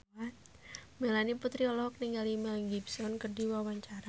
Melanie Putri olohok ningali Mel Gibson keur diwawancara